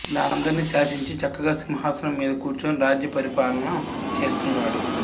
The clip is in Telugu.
ఇలా అందరినీ శాసించి చక్కగా సింహాసనం మీద కూర్చుని రాజ్య పరిపాలనం చేస్తున్నాడు